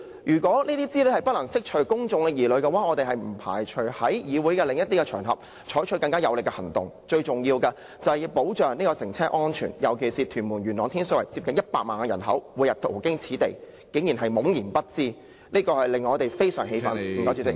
如果這些資料不能釋除公眾疑慮的話，我們不排除在議會外的場合採取更有力的行動，最重要的是保障乘車安全，尤其元朗、天水圍和屯門接近100萬人口，他們每天途經此地，但卻竟然懵然不知，這令我們感到非常氣憤。